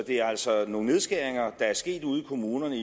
er altså nogle nedskæringer der er sket ude i kommunerne